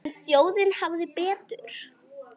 En þjóðin hafði betur.